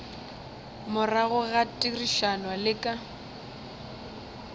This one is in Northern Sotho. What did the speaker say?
morago ga therišano le ka